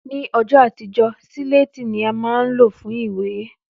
Ní õjõ àtíjö, sílétí ni á má n ló fun ìwé